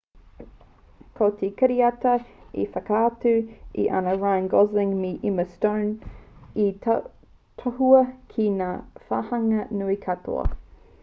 ko te kiriata e whakaatu ana i a ryan gosling me emma stone i tohua ki ngā wāhanga nui katoa